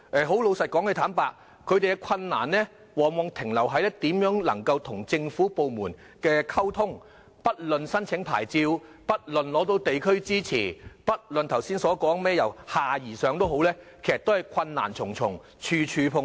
他們面對的困難往往在於如何與政府部門溝通，不論申請牌照、取得地區支持或剛才說的"由下而上"，其實都是困難重重，處處碰壁。